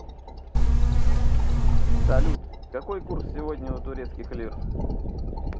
салют какой курс сегодня у турецких лир